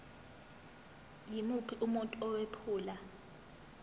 yimuphi umuntu owephula